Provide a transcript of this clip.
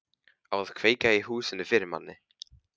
Á að kveikja í húsinu fyrir manni!